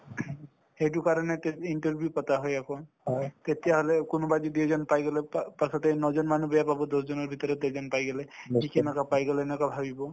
সেইটোৰ কাৰণে interview পাতা হয় আকৌ তেতিয়াহলে কোনোবাই যদি এজন পাই গলে পা পাছত এই ন জন মানুহ বেয়া পাবতো দহ জনৰ ভিতৰত এজন পাই গলে ই কেনেকৈ পাই গলে এনেকুৱা ভাবিব